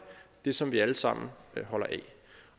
det som vi alle sammen holder af